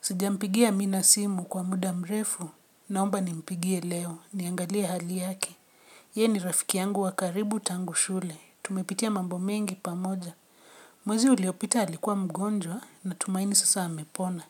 Sijampigia amina simu kwa muda mrefu, naomba ni mpigie leo, niangalia hali yake. Ye ni rafiki yangu wa karibu tangu shule, tumepitia mambo mengi pamoja. Mwezi uliopita alikuwa mgonjwa na tumaini sasa amepona.